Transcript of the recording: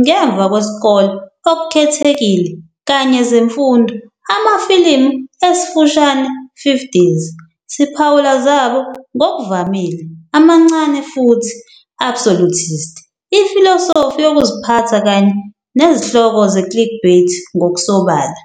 ngemva kwesikole Okukhethekile kanye zemfundo amafilimu esifushane '50s", siphawula zabo ngokuvamile "amancane futhi absolutist" ifilosofi yokuziphatha kanye nezihloko ze- clickbait ngokusobala."